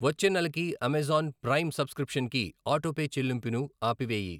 వచ్చే నెలకి Amazon Prime సబ్స్క్రిప్షన్కి ఆటోపే చెల్లింపుని ఆపివేయి.